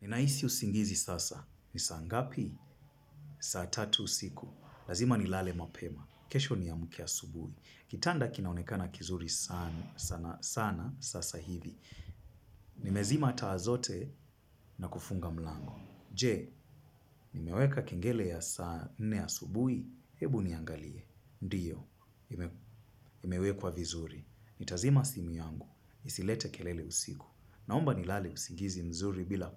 Ninahisi usingizi sasa. Ni saa ngapi? Saa tatu usiku. Lazima nilale mapema. Kesho niamke asubuhi. Kitanda kinaonekana kizuri sana sasa hivi. Nimezima taa zote na kufunga mlango. Je, nimeweka kengele ya saa nne asubuhi, hebu niangalie. Ndiyo, imewekwa vizuri. Nitazima simu yangu. Nisilete kelele usiku. Naomba nilale usingizi mzuri bila